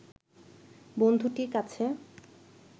বন্ধুটির কাছে